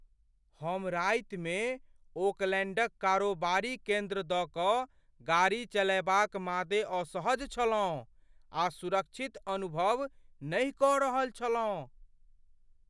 हम रातिमे ओकलैण्डक कारोबारी केन्द्र दऽ कऽ गाड़ी चलएबाक मादे असहज छलहुँ आ सुरक्षित अनुभव नहि कऽ रहल छलहुँ।